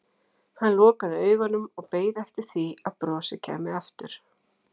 Hann lokaði augunum og beið eftir því að brosið kæmi aftur.